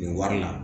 Nin wari la